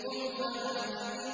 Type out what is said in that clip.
قُمْ فَأَنذِرْ